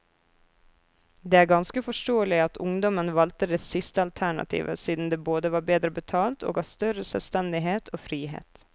Det er ganske forståelig at ungdommen valgte det siste alternativet siden det både var bedre betalt og ga større selvstendighet og frihet.